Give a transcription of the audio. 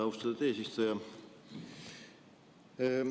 Austatud eesistuja!